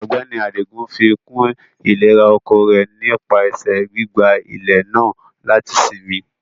Ọgbẹni Adigun fíkún ilẹ̀rà-oko rẹ̀ nípasẹ gbígbà ilẹ̀ náà lati sínmí.